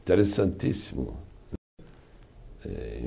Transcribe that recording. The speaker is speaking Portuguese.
Interessantíssimo.